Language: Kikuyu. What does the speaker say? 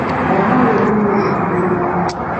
mwana ũyũ nĩ muũnũkũ mĩnũa